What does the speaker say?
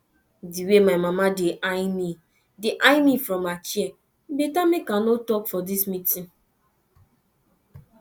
the way my mama dey eye me dey eye me from her chair e better make i no talk for dis meeting